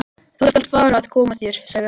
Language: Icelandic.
Þú skalt fara að koma þér, sagði hann.